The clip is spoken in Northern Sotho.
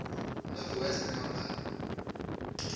north west company